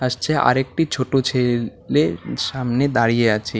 আসছে আরেকটি ছোট ছেলে সামনে দাঁড়িয়ে আছে।